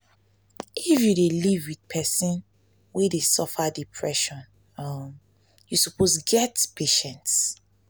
if you dey live wit pesin wey dey suffer depression um you suppose get patient.